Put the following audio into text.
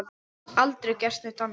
Aldrei gert neitt annað.